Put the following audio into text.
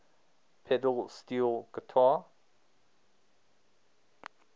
pedal steel guitar